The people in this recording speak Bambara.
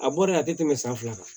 A bɔ de a tɛ tɛmɛ san fila kan